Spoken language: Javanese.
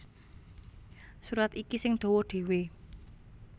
Surat iki sing dawa dhéwé